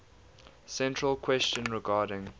central question regarding